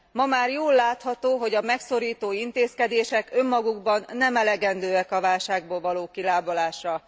Ma már jól látható, hogy a megszorító intézkedések önmagukban nem elegendőek a válságból való kilábalásra.